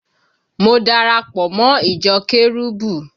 Mo dara pọ̀ mọ́ ìjọ kérúbù